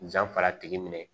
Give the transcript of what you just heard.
Janfa tigi minɛ